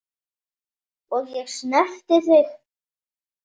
Og ég snerti þig.